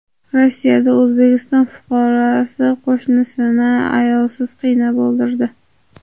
Rossiyada O‘zbekiston fuqarosi qo‘shnisini ayovsiz qiynab o‘ldirdi.